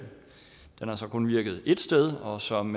den har så kun virket ét sted og som